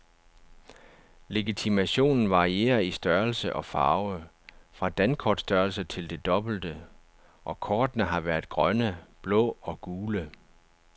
Legitimationen varierer i størrelse og farve, fra dankortstørrelse til det dobbelte, og kortene har været grønne, blå og gule.